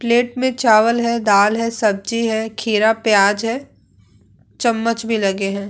Plate में चावल है दाल है सब्जी है खीरा प्याज है चम्मच भी लगे हैं ।